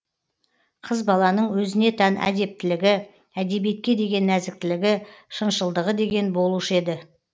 қыз баланың өзіне тән әдептілігі әдебиетке деген нәзіктілігі шыншылдығы деген болушы еді